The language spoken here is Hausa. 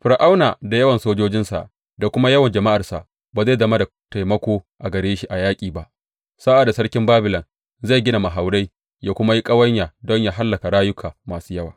Fir’auna da yawan sojojinsa da kuma yawan jama’arsa ba zai zama da taimako gare shi a yaƙi ba, sa’ad da sarkin Babilon zai gina mahaurai ya kuma yi ƙawanya don yă hallaka rayuka masu yawa.